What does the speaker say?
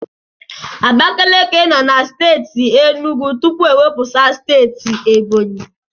Abakaliki nọ na Steeti Enugwu tupu ekewapụta steeti Ebọnyi.